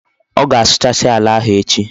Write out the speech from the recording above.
O ga-asuchasi ala ahu echi